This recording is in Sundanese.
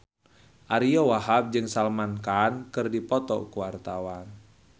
Ariyo Wahab jeung Salman Khan keur dipoto ku wartawan